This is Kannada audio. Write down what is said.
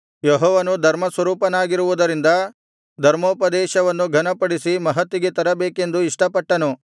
ಯೆಹೋವನು ಧರ್ಮಸ್ವರೂಪನಾಗಿರುವುದರಿಂದ ಧರ್ಮೋಪದೇಶವನ್ನು ಘನಪಡಿಸಿ ಮಹತ್ತಿಗೆ ತರಬೇಕೆಂದು ಇಷ್ಟಪಟ್ಟನು